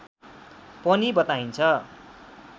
पनि बताइन्छ